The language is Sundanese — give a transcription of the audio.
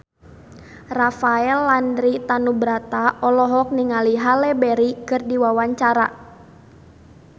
Rafael Landry Tanubrata olohok ningali Halle Berry keur diwawancara